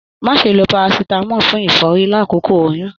Má ṣe ló parasitamọ fún ìfọ́rí l'akoko oyún!